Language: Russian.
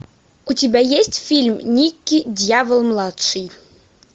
у тебя есть фильм никки дьявол младший